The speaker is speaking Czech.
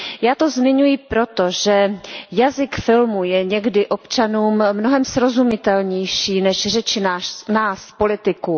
Já to zmiňuji proto, že jazyk filmu je někdy občanům mnohem srozumitelnější než řeči nás, politiků.